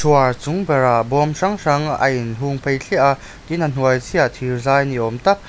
chhuar chung berah bawm hrang-hrang a inhung phei thliah a tin a hnuai chiahah thir zai ni awm tak.